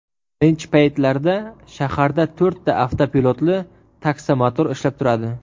Birinchi paytlarda shaharda to‘rtta avtopilotli taksomotor ishlab turadi.